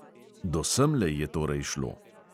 Do semle je torej šlo.